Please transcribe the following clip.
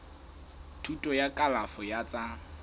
thuto ya kalafo ya tsa